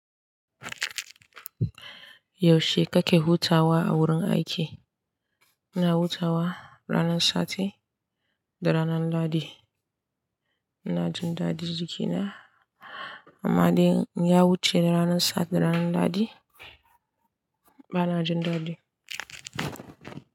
Yaushe kake hutawa a wurin aiki? Ina hutawa ranar sati da ranar lahadi. Ina jin dadi jikina. Amma dai in ya wuce ranar sati da ranar lahadi, ba na jin dadi.